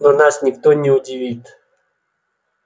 но нас никто не удивит